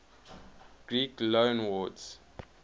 greek loanwords